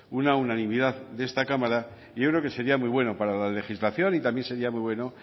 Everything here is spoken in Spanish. una unanimidad de esta cámara y yo creo que sería muy bueno para la legislación y también sería muy bueno